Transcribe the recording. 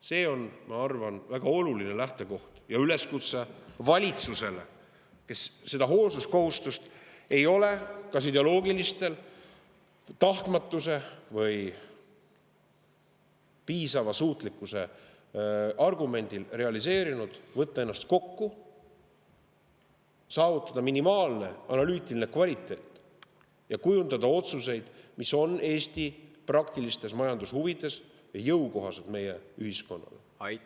See on, ma arvan, väga oluline lähtekoht ja üleskutse valitsusele, kes seda hoolsuskohustust ei ole kas ideoloogilistel, tahtmatuse tõttu või piisava suutlikkuse argumendi alusel realiseerinud: võtta ennast kokku, saavutada minimaalne analüütiline kvaliteet ja kujundada otsuseid, mis on Eesti praktilistes majandushuvides ja meie ühiskonnale jõukohased.